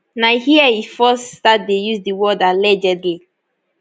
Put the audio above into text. na here e first start dey use di word allegedly